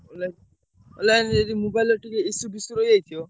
Online online ଯଦି mobile ର ଟିକେ issue ଫିସୁ ରହିଯାଇଥିବ।